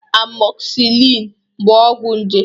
Amoxicillin bụ ọgwụ nje